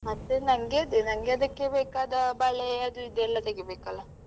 ಮತ್ತೆ ನನ್ಗೆ ಅದೇ ನನ್ಗೆ ಅದಕ್ಕೆ ಬೇಕಾದ ಬಳೆ ಅದು ಇದು ಎಲ್ಲ ತೆಗಿಬೇಕಲ್ಲ.